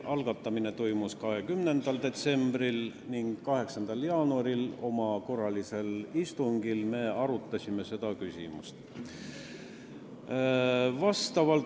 Algatamine toimus 20. detsembril ning 8. jaanuaril oma korralisel istungil me arutasime seda küsimust.